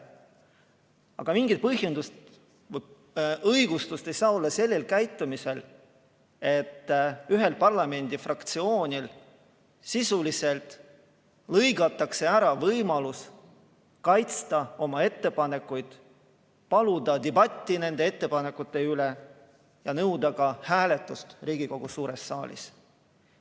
Aga mingit õigustust ei saa olla sellel käitumisel, et ühel parlamendifraktsioonil sisuliselt lõigatakse ära võimalus kaitsta oma ettepanekuid, paluda debatti nende ettepanekute üle ja nõuda ka hääletust Riigikogu suures saalis.